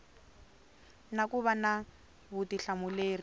na ku va na vutihlamuleri